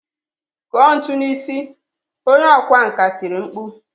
Kụọ ntu n'isi! Onye ọkwá nkà tiri mkpu.